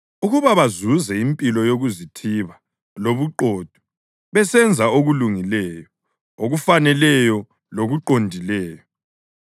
ukuba bazuze impilo yokuzithiba lobuqotho, besenza okulungileyo, okufaneleyo lokuqondileyo;